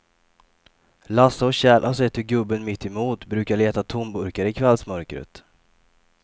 Lasse och Kjell har sett hur gubben mittemot brukar leta tomburkar i kvällsmörkret.